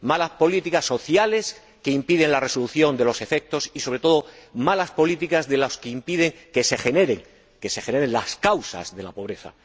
Malas políticas sociales, que impiden la resolución de los efectos, y, sobre todo, malas políticas de los que impiden que se aborden las causas de la pobreza.